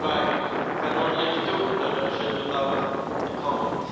However, I cannot leave two interventions without a comment.